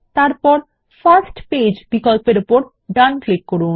তারপর first page বিকল্পর উপর ডান ক্লিক করুন